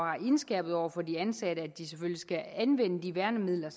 indskærpet over for de ansatte at de selvfølgelig skal anvende de værnemidler